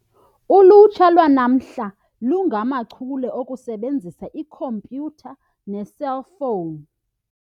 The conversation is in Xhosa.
Ulutsha lwanamhla lungamachule okusebenzisa ikhompyutha neeselfowuni.